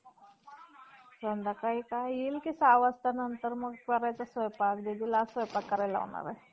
हि वराह आदिनारायणाची आई ना. आणि तिने ती बालहत्या कशी केली? आ~ ता बालहत्या या शब्दाचा अर्थ फक्त बाळाचा वध करणे असा होतो.